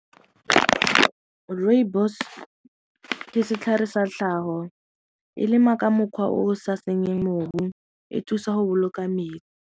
Rooibos ke setlhare sa tlhago, e lema ka mokgwa o sa senyeng mobu, e thusa go boloka metsi.